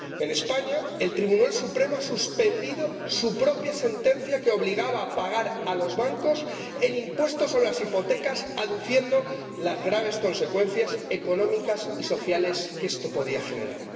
En España, el Tribunal Supremo ha suspendido su propia sentencia, que obligaba a pagar a los bancos el impuesto sobre las hipotecas, aduciendo las graves consecuencias económicas y sociales que esto podía generar.